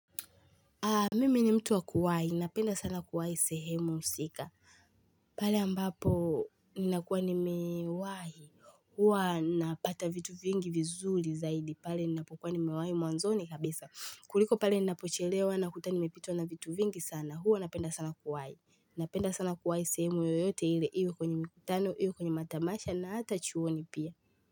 Mimi ni mtu wa kuwai, napenda sana kuwai sehemu husika pale ambapo ni nakuwa ni mewai Hua napata vitu vingi vizuri zaidi pale ni napokuwa ni mewai mwanzoni kabisa kuliko pale ni napochelewa na kuta ni mepitwa na vitu vingi sana huu napenda sana kuwai Napenda sana kuwai sehemu yoyote ile hiyo kwenye mikitano hiyo kwenye matamasha na hata chuoni pia.